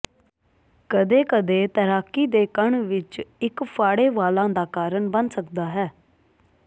ਕਦੇ ਕਦੇ ਤੈਰਾਕੀ ਦੇ ਕੰਨ ਵਿੱਚ ਇੱਕ ਫਾੜੇ ਵਾਲਾਂ ਦਾ ਕਾਰਨ ਬਣ ਸਕਦਾ ਹੈ